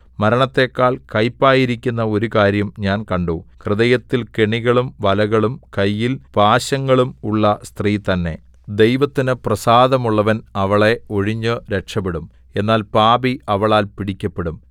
മരണത്തെക്കാൾ കൈപ്പായിരിക്കുന്ന ഒരു കാര്യം ഞാൻ കണ്ടു ഹൃദയത്തിൽ കെണികളും വലകളും കയ്യിൽ പാശങ്ങളും ഉള്ള സ്ത്രീ തന്നെ ദൈവത്തിനു പ്രസാദമുള്ളവൻ അവളെ ഒഴിഞ്ഞു രക്ഷപ്പെടും എന്നാൽ പാപി അവളാൽ പിടിക്കപ്പെടും